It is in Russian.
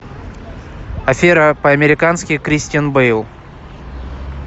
афера по американски кристиан бэйл